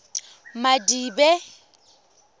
madibe